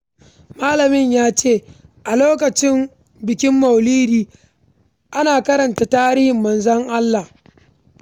Malamin ya ce "A lokacin bikin Maulidi, ana karanta tarihin Manzon Allah"